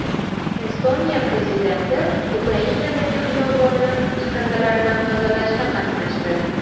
Estoniya prezidenti Ukrainadagi xiyobonni chiqindilardan tozalashda qatnashdi.